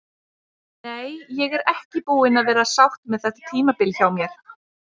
Nei, ég er ekki búin að vera sátt með þetta tímabil hjá mér.